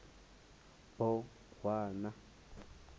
bohwana